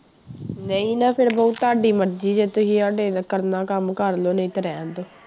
ਨਹੀਂ ਨਾ ਫਿਰ ਬਹੂ ਤੁਹਾਡੀ ਮਰਜ਼ੀ ਜੇ ਤੁਸੀਂ ਸਾਡੇ ਕਰਨਾ ਕੰਮ ਕਰ ਲਓ ਨਹੀਂ ਤੇ ਰਹਿਣ ਦਓ।